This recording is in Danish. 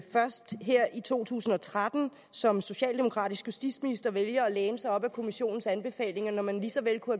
først her i to tusind og tretten som socialdemokratisk justitsminister vælger at læne sig op ad kommissionens anbefalinger når man lige så vel kunne